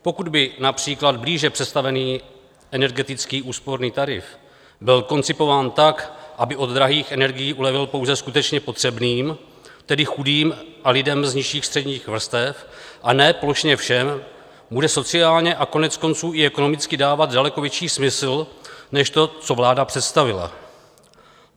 Pokud by například blíže představený energetický úsporný tarif byl koncipován tak, aby od drahých energií ulevil pouze skutečně potřebným, tedy chudým a lidem z nižších středních vrstev, a ne plošně všem, bude sociálně a koneckonců i ekonomicky dávat daleko větší smysl než to, co vláda představila.